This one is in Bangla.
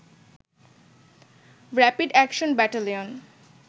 rapid action battalion